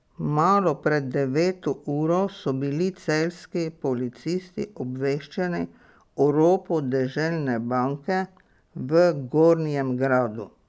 Malo pred deveto uro so bili celjski policisti obveščeni o ropu Deželne banke v Gornjem Gradu.